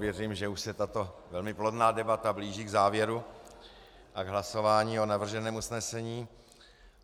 Věřím, že už se tato velmi plodná debata blíží k závěru a k hlasování o navrženém usnesení.